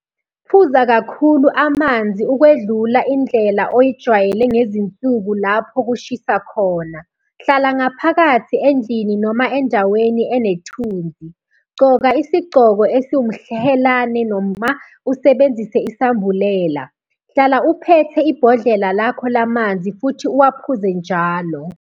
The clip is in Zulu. Phuza kakhulu amanzi ukwedlula indlela oyijwayele ngezinsuku lapho kushisa khona. Hlala ngaphakathi endlini noma endaweni enethunzi. Gqoka isigqoko esiwumhelane noma usebenzise isambulela. Hlala uphethe ibhodlela lakho lamanzi futhi uwaphuze njalo.